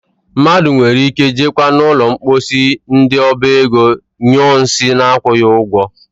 Mmadụ nwere ike jekwaa n'ụlọ mposi ndị oba ego nyụọ nsị na-akwụghị ụgwọ.